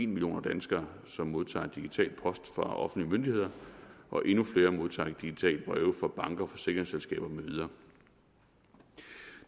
million danskere som modtager digital post fra offentlige myndigheder og endnu flere modtager digitale breve fra banker forsikringsselskaber med videre